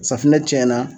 Safunɛ tiɲɛna